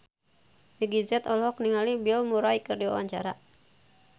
Meggie Z olohok ningali Bill Murray keur diwawancara